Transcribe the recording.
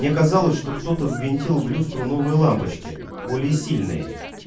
мне казалось что кто-то ввинтил в люстру новые лампочки более сильные